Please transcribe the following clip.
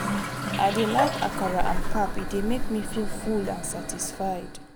i dey prefer akara and pap e dey make me feel full and satisfied.